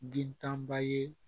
Den tanba ye